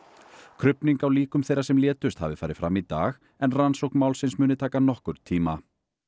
krufning á líkum þeirra sem létust hafi farið fram í dag en rannsókn málsins muni taka nokkurn tíma